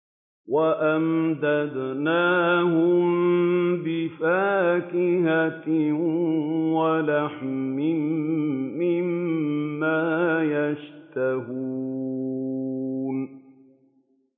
وَأَمْدَدْنَاهُم بِفَاكِهَةٍ وَلَحْمٍ مِّمَّا يَشْتَهُونَ